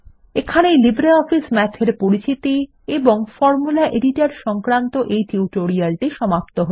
এখানেই LibreOffice Math এর পরিচিতি এবং ফরমুলা এডিটর সংক্রান্ত এই টিউটোরিয়ালটি সমাপ্ত হল